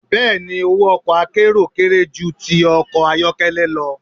Bẹ́ẹ̀ni, owó ọkọ̀ akérò kéré ju ti ọkọ̀ ayọ́kẹ́lẹ́ lọ.